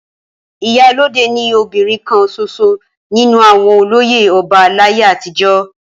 Ìyálode ni obìnrin kan ṣoṣo nínú àwọn olóyè ọba láyé àtijọ́.